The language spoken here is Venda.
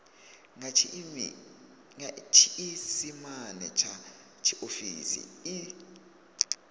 nga tshiisimane tsha tshiofisi i